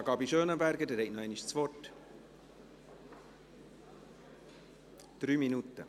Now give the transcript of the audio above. Sarah Gabi Schönenberger, Sie haben noch einmal das Wort; drei Minuten.